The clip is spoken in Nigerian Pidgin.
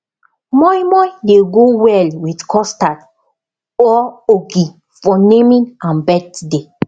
moin moin dey go well with custard or ogi for naming and birthday